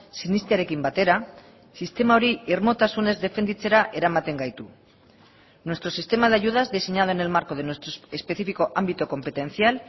sinestearekin batera sistema hori irmotasunez defenditzera eramaten gaitu nuestro sistema de ayudas diseñado en el marco de nuestro específico ámbito competencial